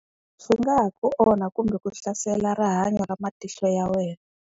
Swi nga ha ku onha kumbe ku hlasela rihanyo ra matihlo ya wena.